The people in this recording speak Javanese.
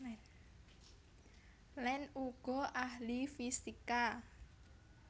Land uga ahli fisika